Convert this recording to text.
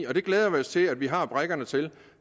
og det glæder vi os til at vi har brikkerne til